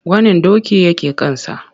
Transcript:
Gwanin doki wanda ya ke kansa.